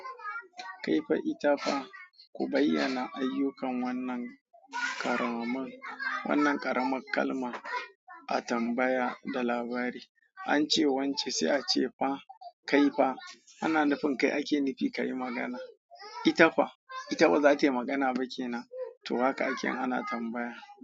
Kaifa ita fa ku bayyana ayyukan wannan karamin wannan ƙaramar kalma a tambaya da labari. An ce wance sai ace fa kaifa, ana nufin kai ake nufi kayi magana. Ita fa ita bazatayi magana ba ke nan? toh haka ake ana tambaya.